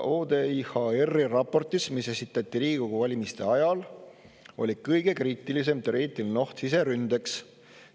ODIHR-i raportis, mis esitati Riigikogu valimiste ajal, oli kõige kriitilisem teoreetiline oht siseründeks.